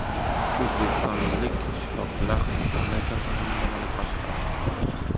O‘zbekistonlik shifokorlar Hindistondagi kasalxonada malaka oshiradi.